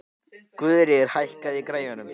Gyðríður, hækkaðu í græjunum.